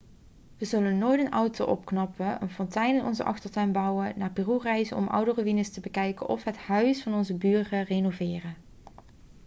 we zullen nooit een auto opknappen een fontein in onze achtertuin bouwen naar peru reizen om oude ruïnes te bekijken of het huis van onze buren renoveren